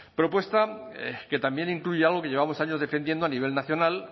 propuesta que también incluye algo que llevamos años defendiendo a nivel nacional